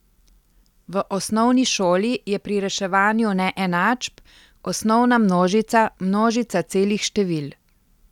V osnovni šoli je pri reševanju neenačb osnovna množica množica celih števil.